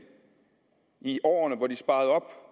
i årene hvor de sparede